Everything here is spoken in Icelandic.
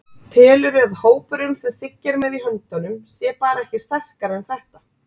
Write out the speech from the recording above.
Telurðu að hópurinn sem Siggi er með í höndunum sé bara ekki sterkari en þetta?